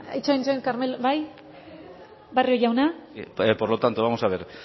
itxoin itxoin carmelo bai barrio jauna por lo tanto vamos a ver